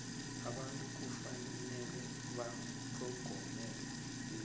abantu kufanele batlhogomele imvelo